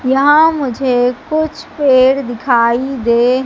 यहां मुझे कुछ पेड़ दिखाई दे--